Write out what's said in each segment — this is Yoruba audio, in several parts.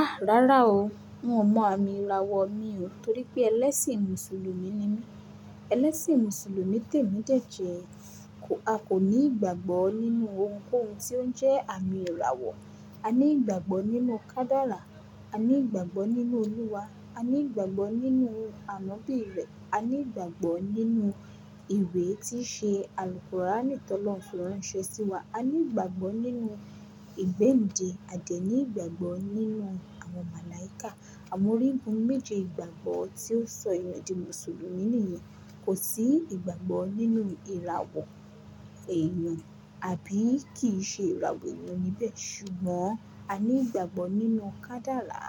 A! Rárá o. N ó mọ àmì ìràwọ̀ mi o torí pé ẹlẹ́sìn Mùsùlùmí ni mí. Ẹlẹ́sìn Mùsùlùmí tèmi jẹ̀jẹ̀. A kò ní ìgbàgbọ́ nínú ohunkóhun tí ó ń jẹ́ àmì ìràwọ̀. A ní ìgbàgbọ́ nínú ọ̀kadara. A ní ìgbàgbọ́ nínú Olúwa. A ní ìgbàgbọ́ nínú Ànọ́bì rẹ̀. A ní ìgbàgbọ́ nínú ìwé tí ṣe, àlùkurànì tó lọ lọ́un fi ranṣẹ̀ sí wa. A ní ìgbàgbọ́ nínú ìgbende. A dẹ̀ ní ìgbàgbọ́ nínú àwọn màláìkà. Àwọn origun méje ìgbàgbọ́ tí ó sọ èyan di Mùsùlùmí nìyẹn. Kò sí ìgbàgbọ́ nínú ìràwọ̀ èyan àbí kìí ṣe ìràwọ̀ èèyàn níbẹ̀. Ṣùgbọ́n a ní ìgbàgbọ́ nínú ọ̀kadàlá.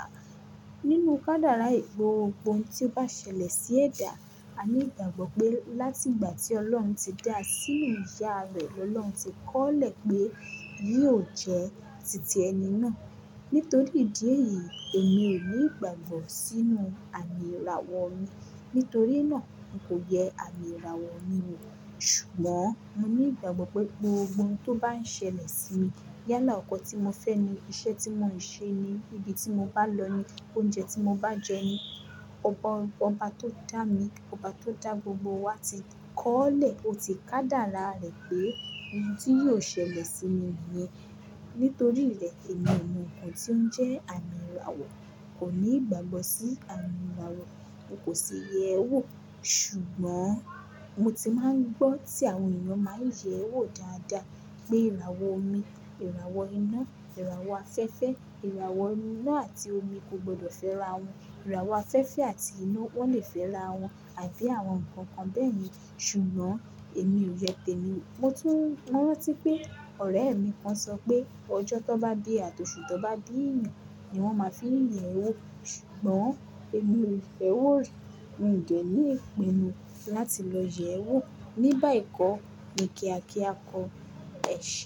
Nínú kadarà, ẹ gbogbo oún tí ó bá ṣẹlẹ̀ sí ẹ̀dà, a ní ìgbàgbọ́ pé láti ìgbà tí Ọlọ́run ti dá a sínú ìyá rẹ̀ lọ, Ọlọ́run ti kọ́lẹ̀ pé yóò jẹ́ títí ẹni náà. Nítorí ìdí èyí, èmi ò ní ìgbàgbọ́ sínú àmì ìràwọ̀ mi. Nítorí náà, n kò yẹ àmì ìràwọ̀ mi wò. Ṣùgbọ́n mo ní ìgbàgbọ́ pé gbogbo ohun tó bá ń ṣẹlẹ̀ sí mi, yálà ọkọ̀ tí mo fẹ́ ni, iṣẹ́ tí mo ń ṣe ni, ibi tí mo bá lọ ni, oúnjẹ tí mo bá jẹ ni, ọ̀pọ̀ ohun kan bá tó dá mi, ọ̀ba tó dá gbogbo wa ti kọ́lẹ̀, ó ti ọ̀kadàrá rẹ̀ pé ohun tí yóò ṣẹlẹ̀ sí mi nìyẹn. Nítorí ìlẹ̀kẹ̀ mi mọ ohun tí ó ń jẹ́ àmì ìràwọ̀, kò ní ìgbàgbọ́ sí àmì ìràwọ̀, n kò sì yẹ ẹ́ wò. Ṣùgbọ́n mo ti máa ń gbọ́ tí àwọn èèyàn máa ń yẹ̀ ẹ́ wò dáadáa pé ìràwọ̀ omi, ìràwọ̀ iná, ìràwọ̀ afẹ́fẹ́, ìràwọ̀ iná àti omi kò gbọdọ̀ fẹ́ra wọn. Ìràwọ̀ afẹ́fẹ́ àti iná wọ́n le fẹ́ra wọn àbí àwọn nnkan kan bẹ́ẹ̀ yẹn. Ṣùgbọ́n èmi ò yẹ tèmi wo. Mo tún mọ́ran tí pé ọ̀rẹ́ mi kan sọ pé ọjọ́ tó bá dé àti oṣù tó bá yàn ni wọ́n máa fi yè wó. Ṣùgbọ́n èmi ò fẹ́ wò rí. Mi ò dèní ìpinnu láti lọ yẹ̀ ẹ́ wò. Nígbà ìkọ́ ni kí a kí a kọ ẹ̀ṣẹ̀.